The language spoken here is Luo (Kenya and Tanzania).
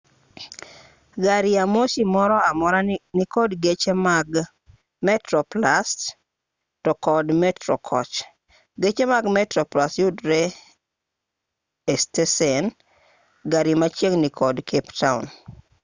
gari ya moshi moro amora nikod geche mag metroplus to kod metro koch geche mag metroplus yudre e stesend gari machiegni kod cape town